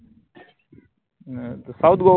नाय त south गोवा